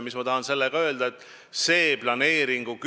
Mis ma tahan sellega öelda?